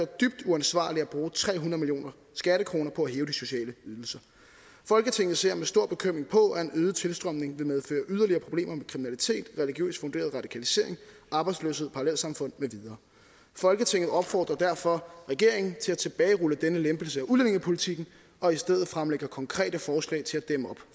dybt uansvarligt at bruge tre hundrede millioner skattekroner på at hæve de sociale ydelser folketinget ser med stor bekymring på at en øget tilstrømning vil medføre yderligere problemer med kriminalitet religiøst funderet radikalisering arbejdsløshed parallelsamfund med videre folketinget opfordrer derfor regeringen til at tilbagerulle denne lempelse af udlændingepolitikken og i stedet fremlægge konkrete forslag til